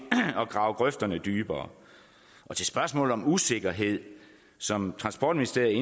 at grave grøfterne dybere til spørgsmålet om usikkerhed som transportministeriet